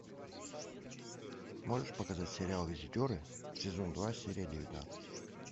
можешь показать сериал визитеры сезон два серия девятнадцать